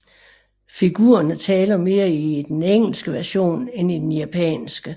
Figurerne taler mere i den engelske version end i den japanske